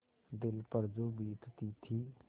दिल पर जो बीतती थी